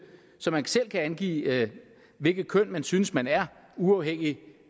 så man selv kan angive hvilket køn man synes man er uafhængigt